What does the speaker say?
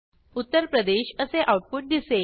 उत्तर प्रदेश असे आऊटपुट दिसेल